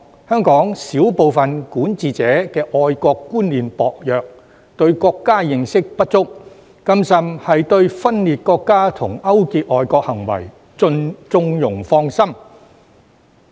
香港少部分管治者的愛國觀念薄弱，對國家認識不足，更甚的是對分裂國家和勾結外國行為縱容放生。